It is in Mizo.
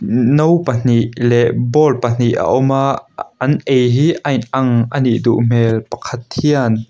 no pahnih leh bowl pahnih a awm a a an ei hi ain ang anih duh hmel pakhat hian --